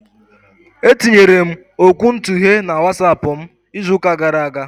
E tinyere m okwuntughe na WatsAapụ m izụka gara aga.